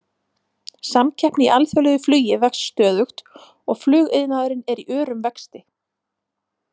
Samkeppni í alþjóðlegu flugi vex stöðugt og flugiðnaðurinn er í örum vexti.